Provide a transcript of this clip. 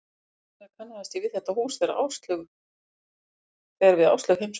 Þess vegna kannaðist ég við þetta hús þegar við Áslaug heimsóttum